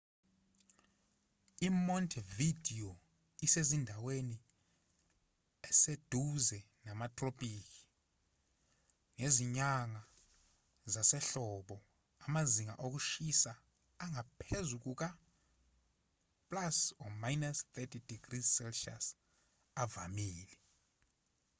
imontevideo isezindaweni eseduze namatropiki; ngezinyanga zasehlobo amazinga okushisa angaphezu kuka-+30°c avamile